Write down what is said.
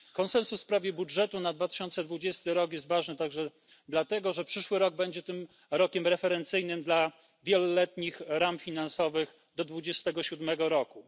Konsensus w sprawie budżetu na 2020 rok jest ważny także dlatego, że przyszły rok będzie tym rokiem referencyjnym dla wieloletnich ram finansowych do 2027 roku.